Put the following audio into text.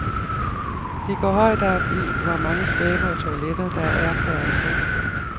De går højt op i hvor mange skabe og toiletter, der er per ansat.